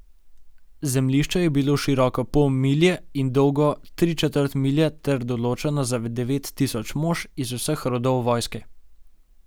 Zemljišče je bilo široko pol milje in dolgo tri četrt milje ter določeno za devet tisoč mož iz vseh rodov vojske.